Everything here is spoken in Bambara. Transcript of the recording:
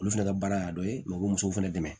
Olu fɛnɛ ka baara y'a dɔ ye musow fɛnɛ dɛmɛ